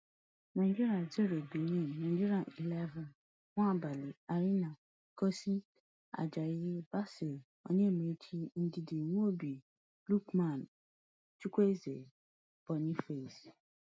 nigeria zero benin nigeria xi nwabali aina ekong ajayi bassey onyemaechi ndidi iwobi lookman chukwueze boniface